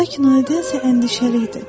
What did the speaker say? Lakin o elə isə əndişəli idi.